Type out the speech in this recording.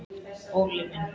Óli minn!